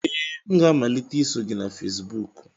Ee, m ga-amalite iso gị na Fesibuku